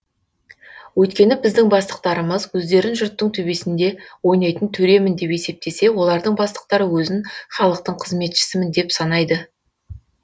өйткені біздің бастықтарымыз өздерін жұрттың төбесінде ойнайтын төремін деп есептесе олардың бастықтары өзін халықтың қызметшісімін деп санайды